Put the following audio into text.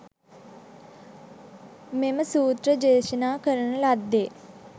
මෙම සූත්‍රය දේශනා කරන ලද්දේ